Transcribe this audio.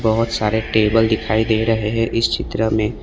बहोत सारे टेबल दिखाई दे रहे है इस चित्र में।